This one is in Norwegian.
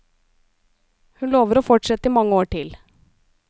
Hun lover å fortsette i mange år til.